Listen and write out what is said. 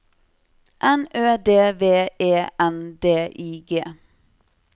N Ø D V E N D I G